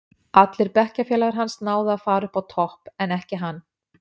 Allir bekkjafélagar hans náðu að fara upp á topp, en ekki hann.